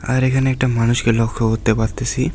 আর এখানে একটা মানুষকে লক্ষ করতে পারতেসি।